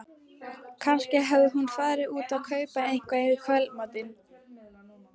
Kannski hafði hún farið út að kaupa eitthvað í kvöldmatinn.